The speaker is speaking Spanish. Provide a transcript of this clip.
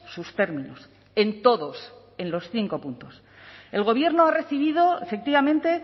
sus términos en todos en los cinco puntos el gobierno ha recibido efectivamente